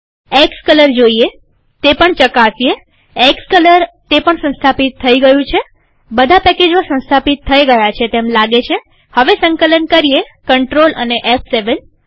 xcolor જોઈએતે પણ ચકાસીએએક્સકલરતે પણ સંસ્થાપિત થઇ ગયું છેબધા પેકેજો સંસ્થાપિત થઇ ગયા છે તેમ લાગે છેહવે સંકલન કરીએCTRL અને ફ7